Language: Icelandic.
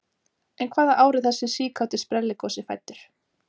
En hvaða ár er þessi síkáti sprelligosi fæddur?